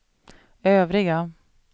övriga